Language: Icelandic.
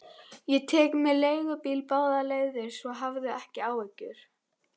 Ég tek mér leigubíl báðar leiðir, svo hafðu ekki áhyggjur.